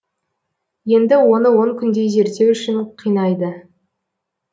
енді оны он күндей зерттеу үшін қинайды